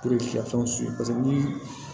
ni